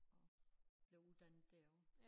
Og blev uddannet derovre